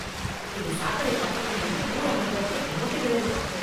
இந்த சாக்கடை பக்கத்தில் வந்து பூ வாங்குவதற்கே குமட்டுகிறது